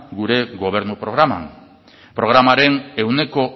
gure gobernu programan programaren ehuneko